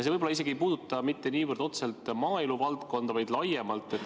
See võib-olla ei puuduta isegi mitte niivõrd otseselt maaeluvaldkonda, vaid on laiem.